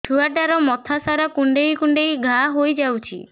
ଛୁଆଟାର ମଥା ସାରା କୁଂଡେଇ କୁଂଡେଇ ଘାଆ ହୋଇ ଯାଇଛି